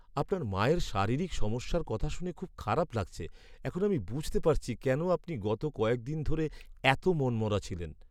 আপনার মায়ের শারীরিক সমস্যার কথা শুনে খুব খারাপ লাগছে। এখন আমি বুঝতে পারছি কেন আপনি গত কয়েক দিন ধরে এত মনমরা ছিলেন।